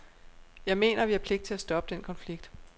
Jeg mener, at vi har pligt til at stoppe den konflikt.